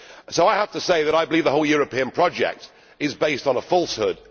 So I have to say that I believe the whole European project is based on a falsehood.